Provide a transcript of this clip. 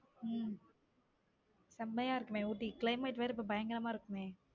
உம் செமையா இருக்குமே ஊட்டி climate வேற பயங்கரமா இருக்குமே.